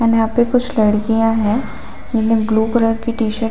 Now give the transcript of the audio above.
and यहाँ पे कुछ लड़कियाँ है इन्हे ब्लू कलर की टी शर्ट --